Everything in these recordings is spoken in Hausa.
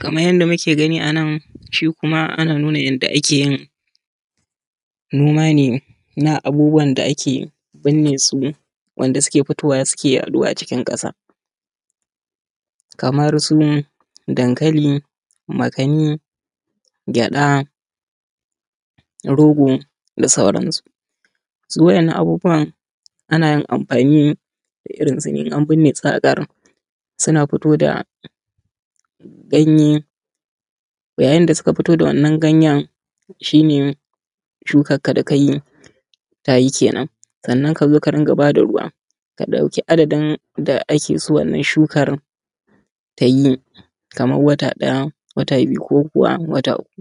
Kaman yadda kuke gani a nan shi kuma ana nuna yadda ake yin noma ne na abubuwan da ake birne su, wanda suke fitowa suke yaɗo a cikin ƙasa kamar su dankali, makani, gyaɗa, rogo da sauran su. Su wa'innan abubuwan ana amfani da irinsu in an birne su, suna fitowa da ganye yayyin da suka fito da wannan ganyan shi ne shukkan ka da kayi tayi kenan, sannan ka zo ka ringa ba da ruwan ka ɗauki addadin da ake son wannan shukan ta yi kaman wata ɗaya, wata biyu ko kuwa wata uku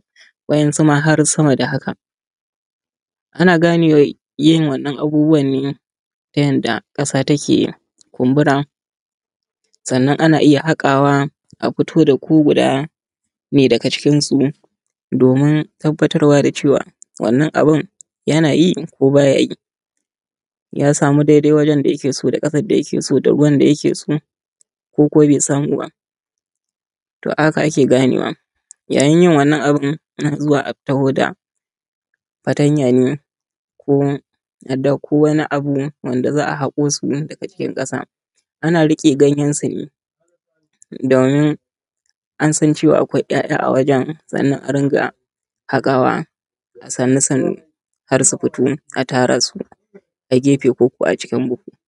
wainsu ma har sama da haka ana gane yin wannan abubuwan ne ta yanda ƙasa take kumbura, sannan ana iya haka wa a fito da ko guda ne daga cikin su domin tabbatar wa da cewa wannan abun yanayi ko baya yi. Ya samu dai dai wajan da yake so da ƙasan da yake so, da ruwan da yake so ko ko bai samu ba. to a haka ake ganewa. Yayin yin wannan abun ana zuwa a taho da da fatanya ne ko a ɗauko wani abu wanda za a haƙo su daga cikin ƙasa ana riƙe ganyen su ne domin an san cewa akwai ‘ya’ya a wajan sannan a ringa haƙawa a sannu sannu har su fito a tara su a gefe ko ko a cikin buhu.